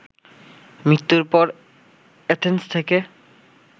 মৃত্যুর পর অ্যাথেন্স থেকে